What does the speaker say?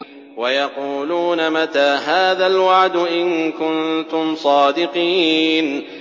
وَيَقُولُونَ مَتَىٰ هَٰذَا الْوَعْدُ إِن كُنتُمْ صَادِقِينَ